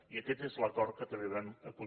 i aquest és l’acord que també vam aconseguir